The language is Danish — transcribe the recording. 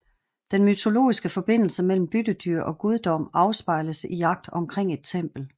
Den mytologiske forbindelse mellem byttedyr og guddom afspejles i jagt omkring et tempel